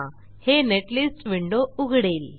हे netlist window उघडेल